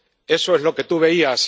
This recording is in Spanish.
Eso es lo que tú veías.